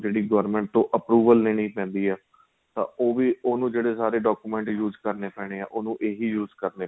ਜਿਹੜੀ government ਤੋ approval ਲੈਣੀ ਪੈਂਦੀ ਏ ਤਾਂ ਉਹ ਵੀ ਉਹਨੂੰ ਜਿਹੜੇ ਸਾਰੇ document use ਕਰਨੇ ਪੈਣੇ ਏ ਉਹਨੂੰ ਏ ਹੀ use ਕਰਨੇ ਪੈਣੇ ਏ